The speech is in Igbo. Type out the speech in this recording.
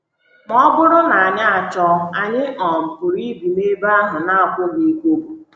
Ma ọ bụrụ na anyị achọọ, anyị um pụrụ ibi n’ebe ahụ n’akwụghị kobo.